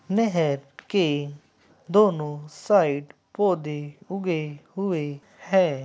नहर के दोनों साइड पौधे उगे हुए है।